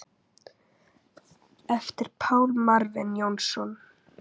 eftir Pál Marvin Jónsson